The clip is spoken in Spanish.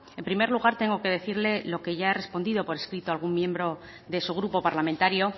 en primer lugar tengo que decirle lo que ya he respondido por escrito a algún miembro de su grupo parlamentario